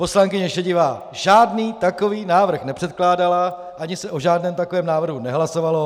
Poslankyně Šedivá žádný takový návrh nepředkládala ani se o žádném takovém návrhu nehlasovalo.